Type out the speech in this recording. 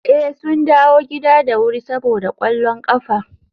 eh, sun dawo gida da wuri saboda kwallon kafa